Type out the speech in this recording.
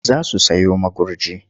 Za su sayo magurji.